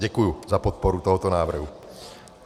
Děkuji za podporu tohoto návrhu.